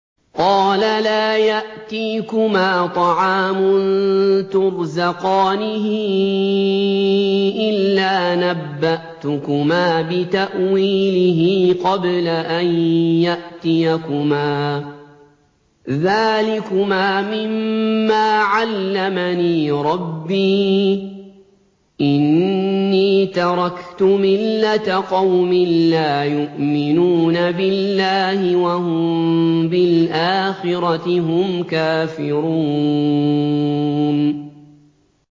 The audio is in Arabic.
قَالَ لَا يَأْتِيكُمَا طَعَامٌ تُرْزَقَانِهِ إِلَّا نَبَّأْتُكُمَا بِتَأْوِيلِهِ قَبْلَ أَن يَأْتِيَكُمَا ۚ ذَٰلِكُمَا مِمَّا عَلَّمَنِي رَبِّي ۚ إِنِّي تَرَكْتُ مِلَّةَ قَوْمٍ لَّا يُؤْمِنُونَ بِاللَّهِ وَهُم بِالْآخِرَةِ هُمْ كَافِرُونَ